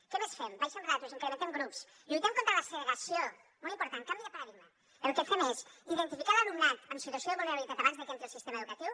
què més fem abaixem ràtios incrementem grups lluitem contra la segregació molt important canvi de paradigma el que fem és identificar l’alumnat en situació de vulnerabilitat abans de que entri al sistema educatiu